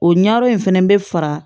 O ɲɛyɔrɔ in fɛnɛ bɛ fara